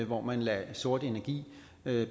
hvor man lader sort energi